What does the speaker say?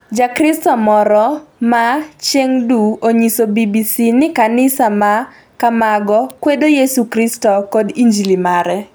Jakristo moro ma Chengdu onyiso BBC ni kanisa ma kamago "kwedo Yesu Kristo kod injili mare".